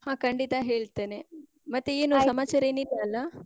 ಹಾ ಖಂಡಿತ ಹೇಳ್ತೇನೆ. ಮತ್ತೆ ಏನು ಸಮಾಚಾರ ಏನ್ ಇಲ್ಲಲ್ಲ?